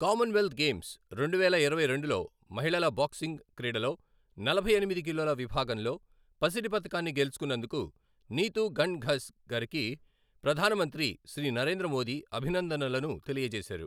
common wealth Games, రెండువేల ఇరవై రెండులో మహిళల బాక్సింగ్ క్రీడలో నలభై ఎనిమిది కిలోల విభాగంలో పసిడి పతకాన్ని గెలుచుకొన్నందుకు నీతు ఘణ్ ఘస్ గారికి ప్రధాన మంత్రి శ్రీ నరేంద్ర మోదీ అభినందనలను తెలియజేశారు